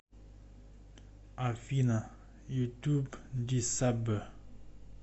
афина ютуб ди саббэ